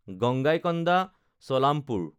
Gangaikonda Cholapuram